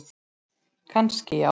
Kannski já.